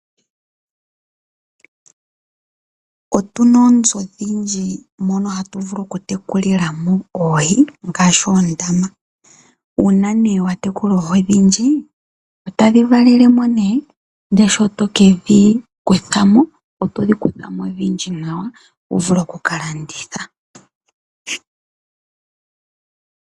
Otuna oonzo oshindji mono hayi vulu okutekulilamo oohi ngaashi oondama. Uuna nee watekula oohi ondhindji otadhi valelemo nee ndee shitokedhi kuthamo oto dhikuthamo odhindji nawa wuvule okuka landitha.